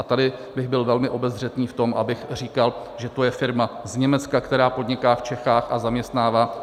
A tady bych byl velmi obezřetný v tom, abych říkal, že to je firma z Německa, která podniká v Čechách a zaměstnává.